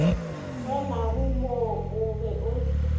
renago mo o be o